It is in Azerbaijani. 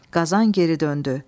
Qazan geri döndü.